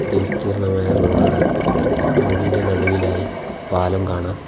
ഇത് വിസ്തീർണ്ണമായ റോഡാണ് റോഡ് ഇൻ്റെ നടുവിലായി പാലം കാണാം.